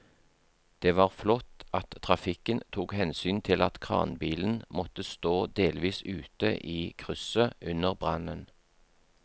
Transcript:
Det var flott at trafikken tok hensyn til at kranbilen måtte stå delvis ute i krysset under brannen.